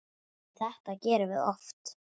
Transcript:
Þetta gerum við oft.